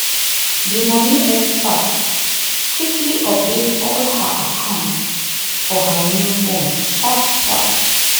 the money expert quickly update all her accounts for her new phone sharp sharp.